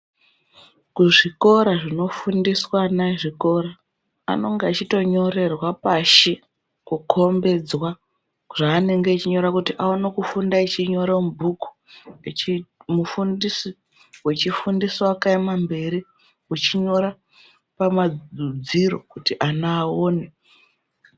Kuzvikora zvinofundiswa ana ezvikora anonga echitonyorerwa pashi kukhombedzwa zvaanenge echinyora kuti aone funda echinyora mubhuku mufundisi wechifundisa wakaema mberi uchinyora pamadziro kuti ana aone.